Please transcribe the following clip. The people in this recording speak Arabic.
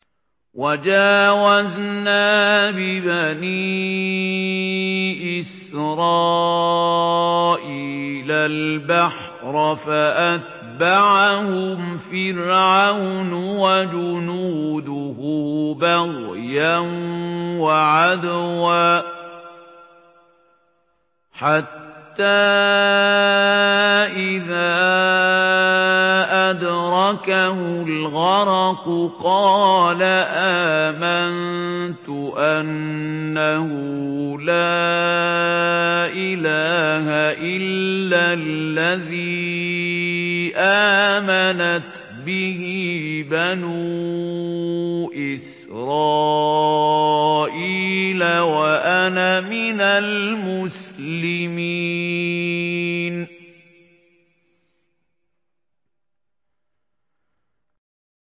۞ وَجَاوَزْنَا بِبَنِي إِسْرَائِيلَ الْبَحْرَ فَأَتْبَعَهُمْ فِرْعَوْنُ وَجُنُودُهُ بَغْيًا وَعَدْوًا ۖ حَتَّىٰ إِذَا أَدْرَكَهُ الْغَرَقُ قَالَ آمَنتُ أَنَّهُ لَا إِلَٰهَ إِلَّا الَّذِي آمَنَتْ بِهِ بَنُو إِسْرَائِيلَ وَأَنَا مِنَ الْمُسْلِمِينَ